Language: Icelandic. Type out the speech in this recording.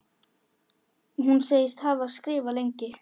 Hún segist hafa skrifað lengi.